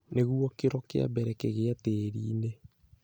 Nĩguo kĩro kĩa mbere kĩgĩe tĩri-inĩ,